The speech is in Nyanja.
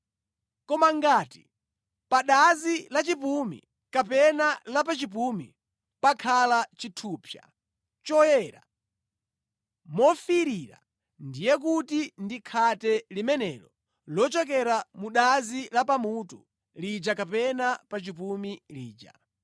Koma ngati pa dazi la pamutu kapena la pa chipumi pakhala chithupsa choyera mofiirira, ndiye kuti ndi khate limenelo lochokera mu dazi la pamutu lija kapena pa chipumi lija.